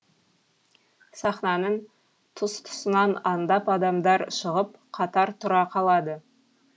сахнаның тұс тұсынан аңдап адамдар шығып қатар тұра қалады